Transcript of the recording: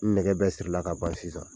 Nɛgɛ bɛ sirila ka ban sisan.